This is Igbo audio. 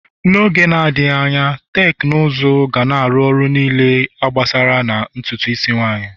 N'oge na-adịghị, teknụzụ ga-arụ ọrụ niile a gbasara na ntutu isi nwanyị